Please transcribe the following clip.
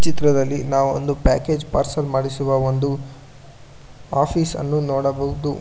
ಚಿತ್ರದಲ್ಲಿ ನಾವು ಒಂದು ಪ್ಯಾಕೇಜ್ ಪಾರ್ಸೆಲ್ ಮಾಡಿಸುವ ಒಂದು ಆಫೀಸ್ ನ್ನು ನೋಡಬಹುದು.